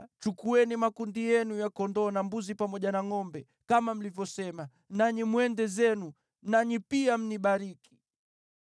Chukueni makundi yenu ya kondoo na mbuzi pamoja na ngʼombe, kama mlivyosema, nanyi mwende zenu. Nanyi pia mnibariki.”